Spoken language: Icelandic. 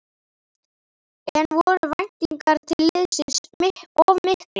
En voru væntingar til liðsins of miklar?